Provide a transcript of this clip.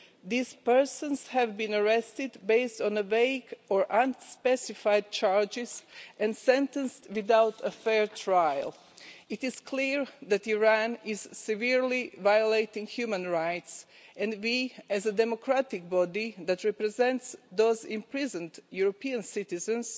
These persons have been arrested on the basis of vague or unspecified charges and sentenced without a fair trial. It is clear that Iran is severely violating human rights, and we as a democratic body that represents those imprisoned European citizens